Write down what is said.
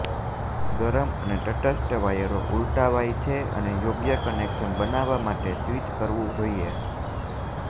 ગરમ અને તટસ્થ વાયરો ઉલટાવાય છે અને યોગ્ય કનેક્શન બનાવવા માટે સ્વિચ કરવું જોઈએ